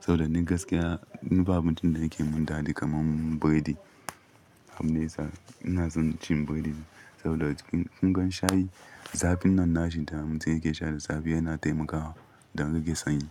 Saboda ni gaskiya, ni ba abincin da yake mun daɗi kamar biredi. Abun yasa ina son cin biredi saboda kunga shayi. Zafin nan nashi damatum yake sha da safe yana taimakawa dan rage sanyi.